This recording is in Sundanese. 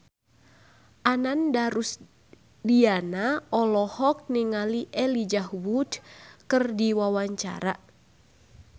Ananda Rusdiana olohok ningali Elijah Wood keur diwawancara